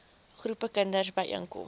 groepe kinders byeenkom